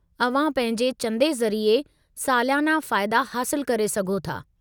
अव्हां पंहिंजे चंदे ज़रिए सालियाना फ़ाइदा हासिलु करे सघो था।